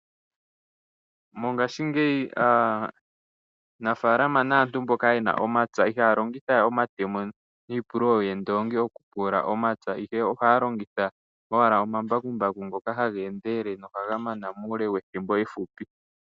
Mongaashingeyi aanafalama naantu mboka yena omapya, ihaya longithawe omatemo nii pululo yoondongi oku pulula omapya, ihe ohaya longitha omambakumbaku ngoka ha ga endelele noha gamana muule wethimbo ehupi.